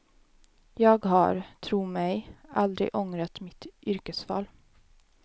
Jag har, tro mig, aldrig ångrat mitt yrkesval.